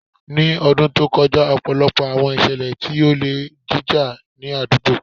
Ni ọdun to kọja, ọpọlọpọ awọn iṣẹlẹ ti ole jija ni adugbo